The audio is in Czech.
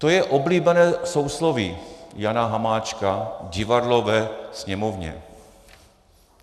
To je oblíbené sousloví Jana Hamáčka, divadlo ve Sněmovně.